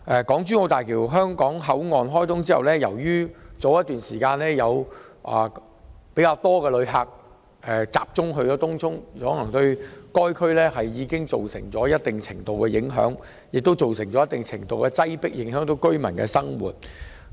港珠澳大橋香港口岸開通後，早前有較多旅客前往東涌，對該區造成一定程度的影響和擠迫情況，影響區內居民的生活。